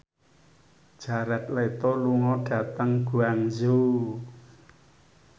Jared Leto lunga dhateng Guangzhou